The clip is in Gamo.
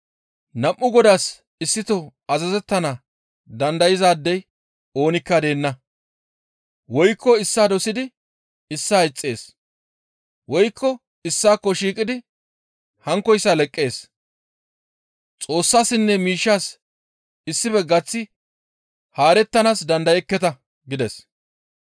«Nam7u godaas issito azazettana dandayzaadey oonikka deenna; woykko issaa dosidi issaa ixxees woykko issaakko shiiqidi hankkoyssa leqqees; Xoossassinne miishshas issife gaththi haarettanaas dandayekketa» gides.